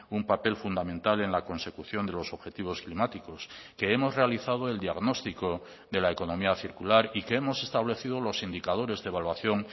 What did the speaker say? un papel fundamental en la consecución de los objetivos climáticos que hemos realizado el diagnóstico de la economía circular y que hemos establecido los indicadores de evaluación